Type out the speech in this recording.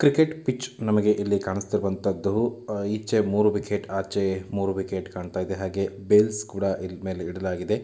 Cricket pitch ನಮಗೆ ಇಲ್ಲಿ ಕಾಣಿಸುತ್ತಿರುವಂತದು ಈಚೆ ಮೂರು ವಿಕೆಟ್‌ ಆಚೆ ಮೂರು ವಿಕೆಟ್‌ ಕಾಣ್ತಾ ಇದೆ ಹಾಗೆ ಬೆಲ್ಸ್‌ ಕೂಡ ಇಲ್ಲಿ ಮೇಲೆ ಇಡಲಾಗಿದೆ.